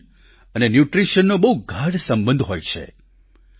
nation અને ન્યૂટ્રિશનનો બહુ ગાઢ સંબંધ હોય છે